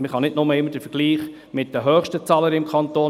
Man kann nicht nur immer den Vergleich mit den höchsten Zahlen machen.